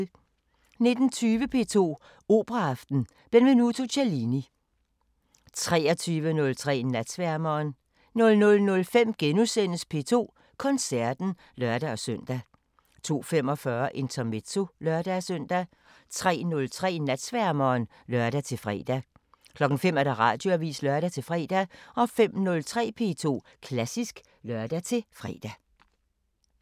19:20: P2 Operaaften: Benvenuto Cellini 23:03: Natsværmeren 00:05: P2 Koncerten *(lør-søn) 02:45: Intermezzo (lør-søn) 03:03: Natsværmeren (lør-fre) 05:00: Radioavisen (lør-fre) 05:03: P2 Klassisk (lør-fre)